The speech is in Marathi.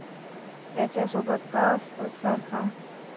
त्याच्यासोबत का असतोस सारखा?